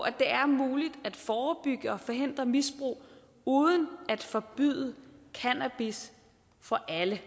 at det er muligt at forebygge og forhindre misbrug uden at forbyde cannabis for alle